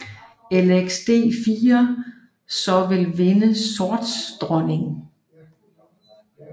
Lxd4 så vil vinde sorts dronning